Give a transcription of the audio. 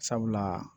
Sabula